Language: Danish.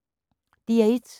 DR1